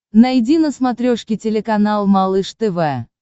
найди на смотрешке телеканал малыш тв